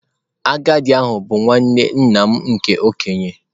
Agadi ahu bu nwanne nna m nke okenye.